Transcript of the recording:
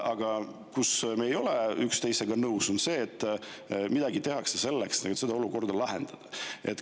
Aga mille puhul me ei ole üksteisega nõus, on see, mida teha selleks, et seda olukorda lahendada.